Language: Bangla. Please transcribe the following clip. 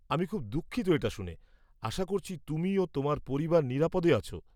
আমি খুব দুঃখিত এটা শুনে। আশা করছি তুমি ও তোমার পরিবার নিরাপদে আছ।